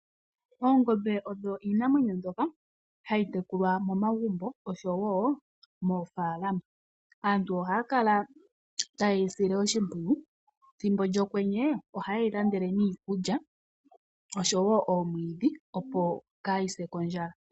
Oongombe odho iinamwenyo mbyoka hayi tekulwa momagumbo oshowo moofalama. Aantu ohaya kala taye yi sile oshimpwiyu. Thimbo lyokwenye ohaye yi landele niikulya oshowo omwiidhi opo kaayi se kondjala.